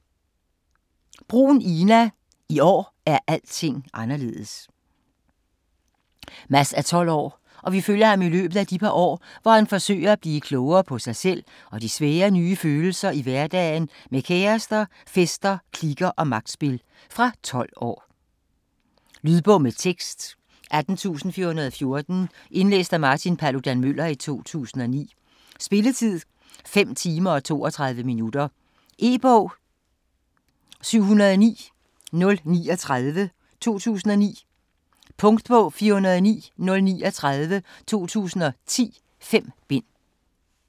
Bruhn, Ina: I år er alting anderledes Mads er 12 år og vi følger ham i løbet af de par år hvor han forsøger at blive klogere på sig selv og de svære nye følelser i hverdagen med kærester, fester, kliker og magtspil. Fra 12 år. Lydbog med tekst 18414 Indlæst af Martin Paludan-Müller, 2009. Spilletid: 5 timer, 32 minutter. E-bog 709039 2009. Punktbog 409039 2010. 5 bind.